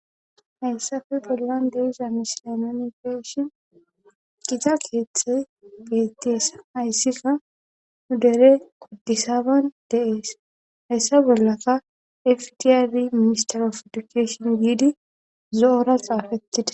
Hayssafi pollan deiza misilemenifeeshin gita keeththe geetteesa hayssika hu dere kuddisaban deees hayssa bollaka fdiarri mister of edukashon giidi zo7ora xaafattida